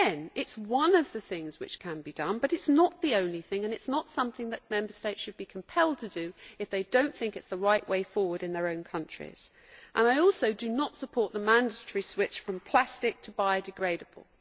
Again, it is one of the things which can be done, but it is not the only thing and it is not something that Member States should be compelled to do if they do not think it is the right way forward in their own countries. I also do not support the mandatory switch from plastic to biodegradable.